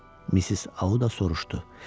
Missis Audda soruştu: